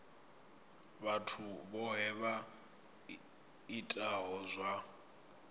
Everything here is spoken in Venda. vhathu vhohe vha itaho zwa